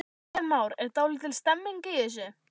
Kristján Már: Er dálítil stemning í þessu?